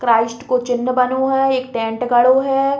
क्राइस्ट को चिन्ह बनो है। एक टेंट गड़ो है।